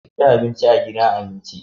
Ku ci abinci a gidan abinci.